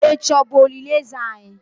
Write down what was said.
echi o bu olili eze anyi?